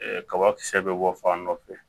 kabakisɛ bɛ bɔ fan dɔ fɛ